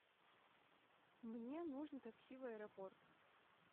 мне нужно такси в аэропорт